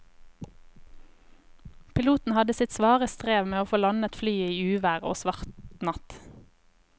Piloten hadde sitt svare strev med å få landet flyet i uvær og svart natt.